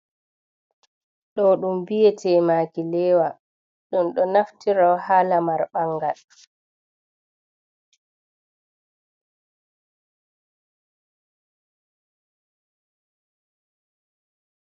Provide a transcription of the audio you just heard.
Ɗo ɗum mbiyete maakileewa. Ɗum ɗo naftire ha lamar ɓangal.